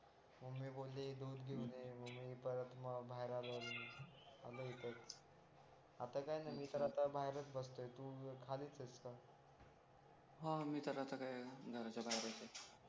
अरे दोन घेऊन ये मग मी परत बाहेर आलो की आलो इथंच आता काही नाही आता मी तर बाहेरच बसलोय तू खालीच आहेस का हा मी तर आता काय घराच्या बाहेरच आहे